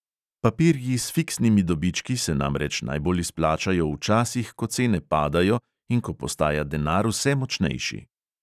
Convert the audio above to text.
Papirji s fiksnimi dobički se namreč najbolj izplačajo v časih, ko cene padajo in ko postaja denar vse močnejši.